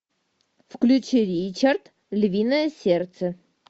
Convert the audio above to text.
включи ричард львиное сердце